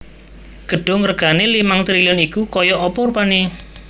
Gedung regane limang triliun iku koyok opo rupane